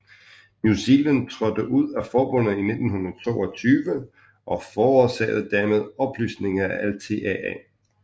New Zealand trådte ud af forbundet i 1922 og forårsagede dermed opløsningen af LTAA